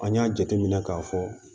An y'a jateminɛ k'a fɔ